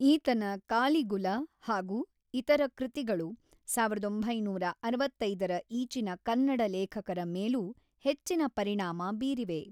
ಈತನ ಕಾಲಿಗುಲ ಹಾಗೂ ಇತರ ಕೃತಿಗಳು ಸಾವಿರದ ಒಂಬೈನೂರ ಅರವತ್ತೈದರ ಈಚಿನ ಕನ್ನಡ ಲೇಖಕರ ಮೇಲೂ ಹೆಚ್ಚಿನ ಪರಿಣಾಮ ಬೀರಿವೆ.